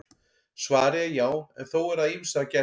Svarið er já en þó er að ýmsu að gæta.